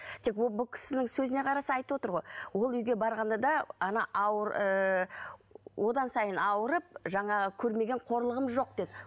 бұл кісінің сөзіне қараса айтып отыр ғой ол үйге барғанда да она ауыр одан сайын ауырып жаңағы көрмеген қорлығым жоқ деп